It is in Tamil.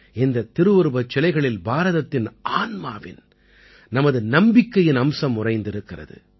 இந்த திருவுருவச் சிலைகளில் பாரதத்தின் ஆன்மாவின் நமது நம்பிக்கையின் அம்சம் உறைந்திருக்கிறது